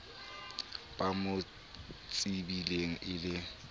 ba mo tsebileng e le